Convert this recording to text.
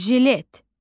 Jilet.